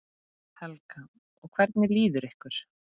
Helga: Og hvernig líður ykkur?